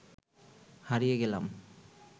হারিয়ে গেলাম